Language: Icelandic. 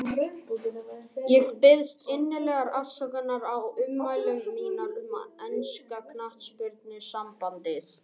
Ég biðst innilegrar afsökunar á ummælum mínum um enska knattspyrnusambandið.